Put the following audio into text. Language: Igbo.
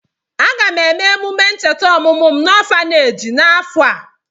Aga m eme emume ncheta ọmụmụ m n'ọfaneeji n'afọ a.